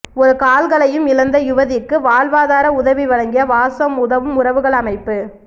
இரு கால்களையும் இழந்த யுவதிக்கு வாழ்வாதார உதவி வழங்கிய வாசம் உதவும் உறவுகள் அமைப்பு